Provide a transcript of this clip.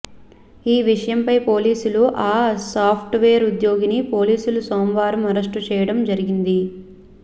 ఈ విషయంపై పోలీసులు ఆ సాప్ట్వేర్ ఉద్యోగిని పోలీసులు సోమవారం అరెస్టు చేయడం జరిగింది